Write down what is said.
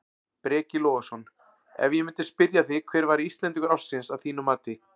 Breki Logason: Ef ég myndi spyrja þig hver væri Íslendingur ársins að þínu mati?